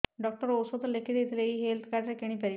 doctor ଔଷଧ ଲେଖିଦେଇଥିଲେ ଏଇ ହେଲ୍ଥ କାର୍ଡ ରେ କିଣିପାରିବି